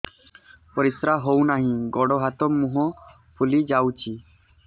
ପରିସ୍ରା ହଉ ନାହିଁ ଗୋଡ଼ ହାତ ମୁହଁ ଫୁଲି ଯାଉଛି